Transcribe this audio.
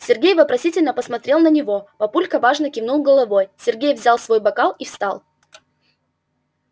сергей вопросительно посмотрел на него папулька важно кивнул головой сергей взял свой бокал и встал